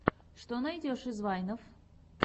что найдешь из вайнов